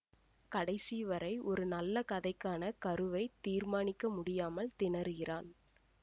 கடைசி வரை ஒரு நல்ல கதைக்கான கருவை தீர்மானிக்க முடியாமல் திணறுகிறான்